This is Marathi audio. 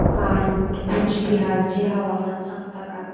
मला कूचबिहार चे हवामान सांगता का